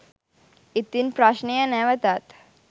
ඉතින් ප්‍රශ්නය නැවතත්